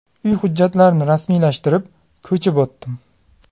Uy hujjatlarini rasmiylashtirib, ko‘chib o‘tdim.